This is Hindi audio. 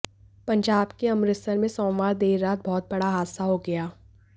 पंजाब के अमृतसर में सोमवार देर रात बहुत बड़ा हादसा हो गया